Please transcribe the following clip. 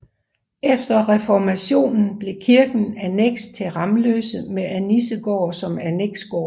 Efter reformationen blev kirken anneks til Ramløse med Annissegård som anneksgård